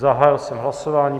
Zahájil jsem hlasování.